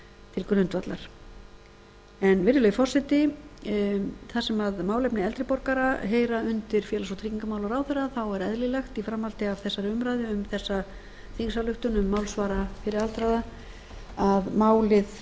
til grundvallar virðulegi forseti þar sem málefni eldri borgara heyra undir félags og tryggingamálaráðherra er eðlilegt í framhaldi af þessari umræðu um þessa þingsályktun um málsvara fyrir aldraða að málið